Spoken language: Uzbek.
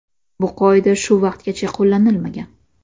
Bu qoida shu vaqtgacha qo‘llanilmagan.